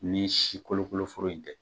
Ni si kolo kolo foro in tɛ.